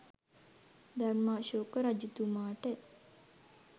ධර්මාශෝක රජතුමාට